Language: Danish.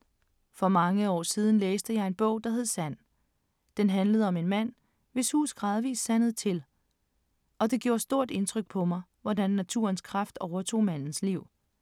For mange år siden læste jeg en bog, der hed Sand. Den handlede om en mand, hvis hus gradvis sandede til, og det gjorde stort indtryk på mig, hvordan naturens kraft overtog mandens liv.